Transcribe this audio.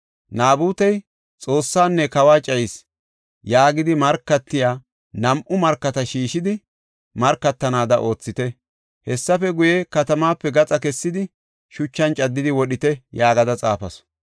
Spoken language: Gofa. Naabutey, ‘Xoossaanne kawa cayis’ yaagidi markatiya nam7u markata shiishidi, markatanaada oothite. Hessafe guye, katamaape gaxa kessidi, shuchan caddidi wodhite” yaagada xaafasu.